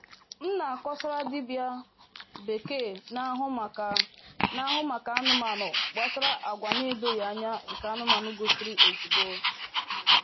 M na-akọsara dibịa bekee na-ahụ maka na-ahụ maka anụmanụ gbasara agwa na-edoghị anya nke anụmanụ gosiri ozugbo.